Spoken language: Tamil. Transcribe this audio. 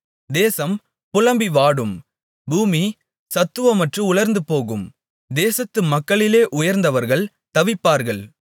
தேசம் புலம்பி வாடும் பூமி சத்துவமற்று உலர்ந்துபோகும் தேசத்து மக்களிலே உயர்ந்தவர்கள் தவிப்பார்கள்